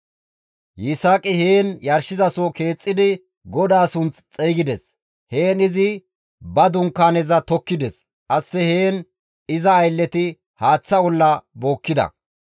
Yisaaqi heen yarshizaso keexxidi GODAA sunth xeygides; heen izi ba dunkaaneza tokkides; qasse heen iza aylleti haaththa olla bookkida.